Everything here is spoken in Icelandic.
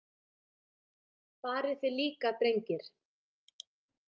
Farið þið líka, drengir.